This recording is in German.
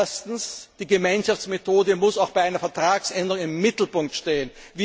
Erstens, die Gemeinschaftsmethode muss auch bei einer Vertragsänderung im Mittelpunkt stehen.